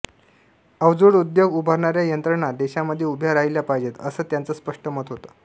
अवजड उद्योग उभारणाऱ्या यंत्रणा देशामध्ये उभ्या राहिल्या पाहिजेत असं त्यांचं स्पष्ट मत होतं